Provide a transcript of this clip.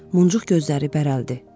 Muncuq gözləri bərəldi.